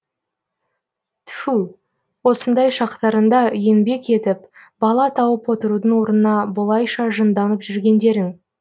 тфу осындай шақтарыңда еңбек етіп бала тауып отырудың орнына бұлайша жынданып жүргендерің